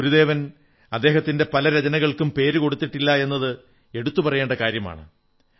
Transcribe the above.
ഗുരുദേവൻ അദ്ദേഹത്തിന്റെ പല രചനകൾക്കും പേരു കൊടുത്തിട്ടില്ല എന്നത് എടുത്തു പറയേണ്ട കാര്യമാണ്